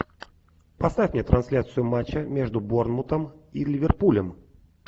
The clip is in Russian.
поставь мне трансляцию матча между борнмутом и ливерпулем